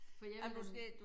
For jeg ville